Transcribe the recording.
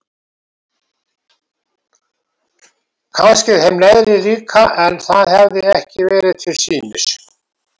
Kannski þeim neðri líka en það hafði ekki verið til sýnis.